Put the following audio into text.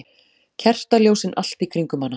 Kertaljósin allt í kringum hana.